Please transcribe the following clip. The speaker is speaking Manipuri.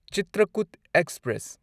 ꯆꯤꯇ꯭ꯔꯀꯨꯠ ꯑꯦꯛꯁꯄ꯭ꯔꯦꯁ